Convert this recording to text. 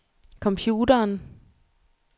computeren